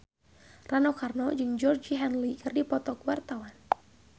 Rano Karno jeung Georgie Henley keur dipoto ku wartawan